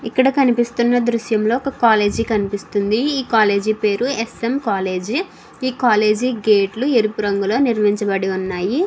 ఇక్కడ కనిపిస్తూన దుర్షం లో ఒక కాలేజీ కనిపిస్తుంది. ఈ కాలేజీ పేరు ఎస్.ఎం కాలేజీ . ఈ కాలేజీ గేట్ లో ఎరుపు రంగు నిరుమించబడి వున్నాయ్.